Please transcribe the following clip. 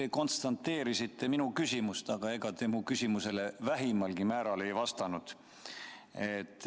Te konstateerisite minu küsimust, aga ega te sellele vähimalgi määral vastanud.